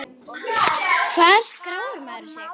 Hvar skráir maður sig?